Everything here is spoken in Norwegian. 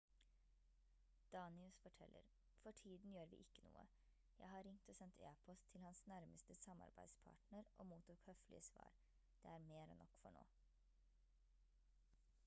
danius forteller: «for tiden gjør vi ikke noe. jeg har ringt og sendt e-post til hans nærmeste samarbeidspartner og mottok høflige svar. det er mer enn nok for nå»